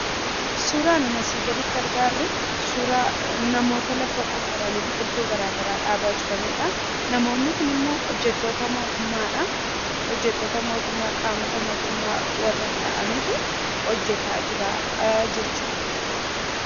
Suuraan nun asii gaditti argaarru , suuraa namoota lafa qofforanii biqiltuu garagaraa dhaabaa jiranidha. Namoonni kunimmoo hojjattoota mootummaadha. Hojjattoota mootummaa qaamota mootummaa warra ta'anitu hojjataa jira jechudha.